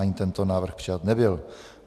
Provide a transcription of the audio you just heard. Ani tento návrh přijat nebyl.